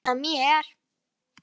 Nú er komið að þér.